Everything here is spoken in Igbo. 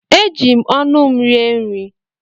Eji m ọnụ m rie nri.